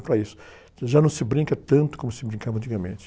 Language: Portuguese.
para isso. Já não se brinca tanto como se brincava antigamente.